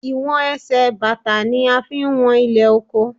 Ìwọ̀n Ẹsẹ̀ bàtà ni a fi ń wọn ilẹ̀ oko.